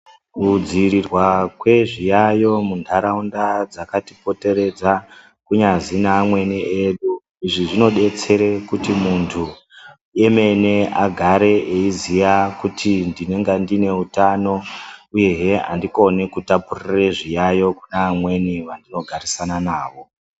Kudzivirirwa kwezviyayo munharaunda dzakatipoteredza ,kunyazi naamweni edu ,izvi zvinodetsere kuti munthu emene agare eiziya kuti mdinenge ndine utano uyezve andikoni kutapurire zviyayo kune vamweni vandinogarisana navo.